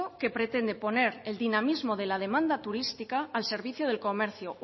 que pretende poner el dinamismo de la demanda turística al servicio del comercio